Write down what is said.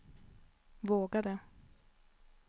vågade